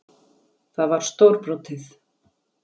Það var stórbrotið.